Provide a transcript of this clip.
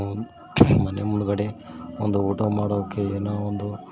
ಮನೆ ಮುಂದ್ಗಡೆ ಒಂದು ಊಟ ಮಾಡೋಕ್ಕೆ ಏನೋ ಒಂದು--